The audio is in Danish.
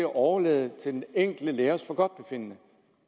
overlades til den enkelte lærers forgodtbefindende